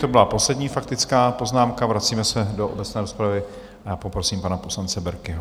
To byla poslední faktická poznámka, vracíme se do obecné rozpravy a poprosím pana poslance Berkiho.